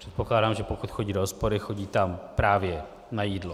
Předpokládám, že pokud chodí do hospody, chodí tam právě na jídlo.